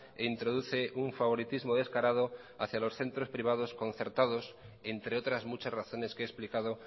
e introduce un favoritismo descarado hacia los centros privados concertados entre otras muchas razones que he explicado